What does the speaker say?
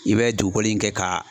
I bɛ dugukolo in kɛ ka